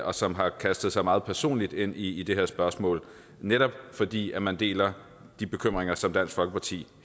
og som har kastet sig meget personligt ind i det her spørgsmål netop fordi man deler de bekymringer som dansk folkeparti